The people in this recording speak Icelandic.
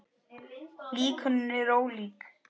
Líkönin eru ólík.